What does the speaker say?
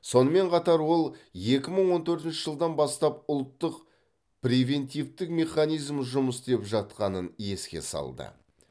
сонымен қатар ол екі мың он төртінші жылдан бастап ұлттық превентивтік механизм жұмыс істеп жатқанын еске салды